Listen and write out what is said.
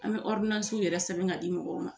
An bɛ yɛrɛ sɛbɛn k'a di mɔgɔw ma